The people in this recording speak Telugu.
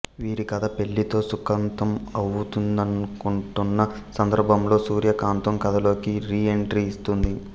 వీరి కథ పెళ్లితో సుఖాంతం అవుతుందనుకుంటున్న సందర్భంలో సూర్యకాంతం కథలోకి రీ ఎంట్రీ ఇస్తుంది